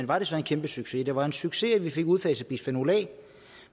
var det så en kæmpe succes det var en succes at vi fik udfaset bisfenol a